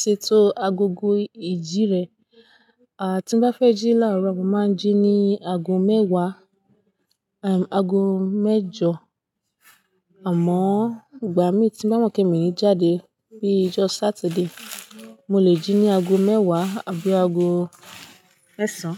ṣètò agogo ìjí rẹ? Àá tí n bá fẹ́ jí láàárọ̀, mo máa ń jí ní ago mẹ́wàá, ago mẹ́jọ. Àmọ́ ìgbà mi tí bá mọ̀ pé mi ò ní jáde pé ijọ́ Sátidé, mo lè jí ní ago mẹ́wàá tàbí ago mẹ́sàn.